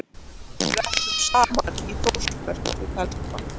Við ætlum saman í Þórsmörk um helgina.